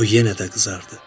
O yenə də qızardı.